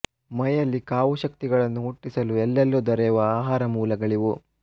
ಮೈಯಲ್ಲಿ ಕಾವು ಶಕ್ತಿಗಳನ್ನು ಹುಟ್ಟಿಸಲು ಎಲ್ಲೆಲ್ಲೂ ದೊರೆವ ಆಹಾರ ಮೂಲಗಳಿವು